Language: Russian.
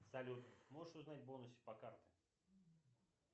салют можешь узнать бонусы по картам